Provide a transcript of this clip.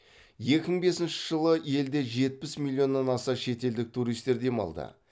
екі мың бесінші жылы елде жетпіс миллионнан аса шетелдік туристер демалды